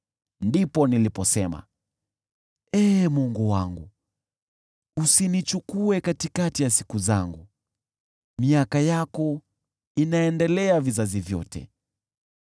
Ndipo niliposema: “Ee Mungu wangu, usinichukue katikati ya siku zangu; miaka yako inaendelea vizazi vyote.